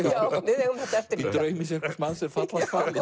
eigum þetta eftir líka í draumi sérhvers manns er fall